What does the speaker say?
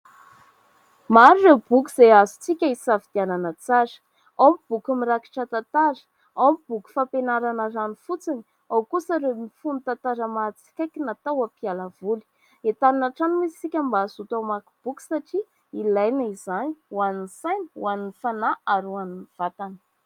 Maro ireo boky izay azontsika hisafidianana tsara. Ao ny boky mirakitra tantara, ao ny boky fampianarana ihany fotsiny, ao kosa ireo mifono tantara-mahatsikaiky natao hampiala voly. Entanina hatrany isika mba hazoto hamaky boky satria ilaina izany ho an'ny saina, ho an'ny fanahy ary ho an'ny vatana.